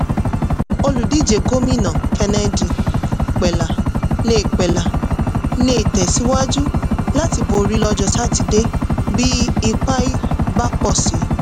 olùdíje gómìnà kennedy pela lè pela lè tẹ̀síwájú láti borí lọ́jọ́ sátidé bí ipa bá pọ̀ si.